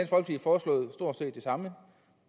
samme